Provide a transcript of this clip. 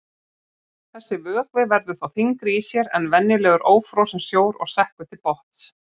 Þessi vökvi verður þá þyngri í sér en venjulegur ófrosinn sjór og sekkur til botns.